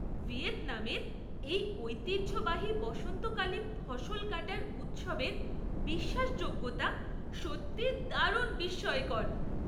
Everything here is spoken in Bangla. ভিয়েতনামের এই ঐতিহ্যবাহী বসন্তকালীন ফসল কাটার উৎসবের বিশ্বাসযোগ্যতা সত্যিই দারুণ বিস্ময়কর!